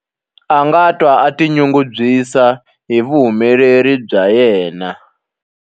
A nga twa a tinyungubyisa hi vuhumeleri bya yena.